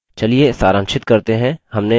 चलिए सारांशित करते हैं हमने अभी जो कहा